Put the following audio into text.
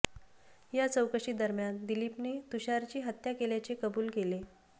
या चौकशी दरम्यान दिलीपने तुषारची हत्या केल्याचे कबुल केले